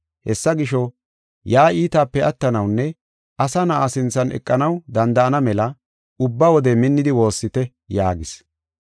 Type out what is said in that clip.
Hessa gisho, yaa iitaape attanawunne Asa Na7a sinthan eqanaw danda7ana mela ubba wode minnidi woossite” yaagis.